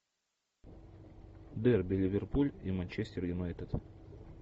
дерби ливерпуль и манчестер юнайтед